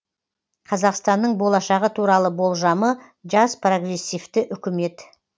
қазақстанның болашағы туралы болжамы жас прогрессивті үкімет